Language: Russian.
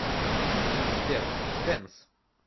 сбер дэнс